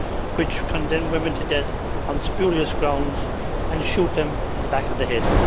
which condemn women to death on spurious grounds and shoot them in the back of the head.